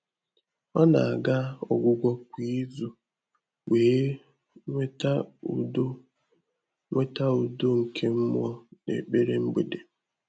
Ọ́ nà-àgà ọ́gwụ́gwọ́ kwá ízù wèé nwètá údo nwètá údo nké mmụ́ọ́ n’ékpèré mgbèdé.